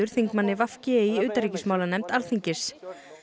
þingmanni v g í utanríkismálanefnd Alþingis